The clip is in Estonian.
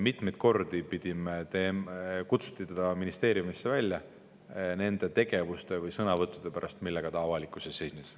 Teda kutsuti ministeeriumisse välja nende tegevuste või sõnavõttude pärast, millega ta avalikkuse ees esines.